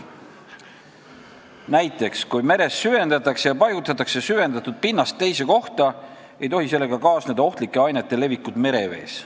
Näiteks, kui meres süvendatakse ja paigutatakse süvendatud pinnast teise kohta, ei tohi sellega kaasneda ohtlike ainete levikut merevees.